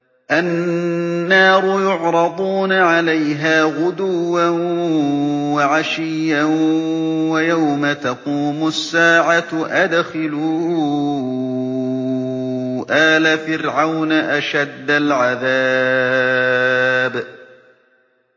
النَّارُ يُعْرَضُونَ عَلَيْهَا غُدُوًّا وَعَشِيًّا ۖ وَيَوْمَ تَقُومُ السَّاعَةُ أَدْخِلُوا آلَ فِرْعَوْنَ أَشَدَّ الْعَذَابِ